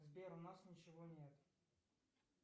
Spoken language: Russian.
сбер у нас ничего нет